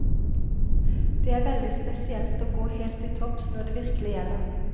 Det er veldig spesielt å gå helt til topps når det virkelig gjelder.